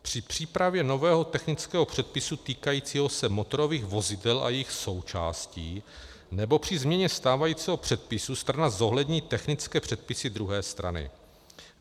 Při přípravě nového technického předpisu týkajícího se motorových vozidel a jejich součástí nebo při změně stávajícího předpisu strana zohlední technické předpisy druhé strany.